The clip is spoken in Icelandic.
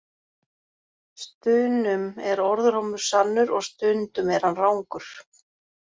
Stunum er orðrómur sannur og stundum er hann rangur.